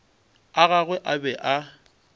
a gagwe a be a